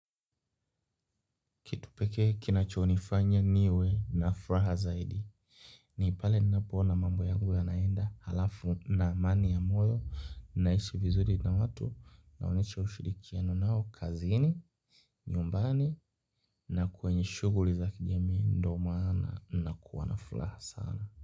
Kitu pekee kinachonifanya niwe na furaha zaidi. Ni pale ninapoona mambo yangu yanaenda halafu na amani ya moyo naishi vizuri na watu naonyesha ushirikiano nao kazini, nyumbani na kwenye shughuli za kijamii ndo maana nakuwa na furaha sana.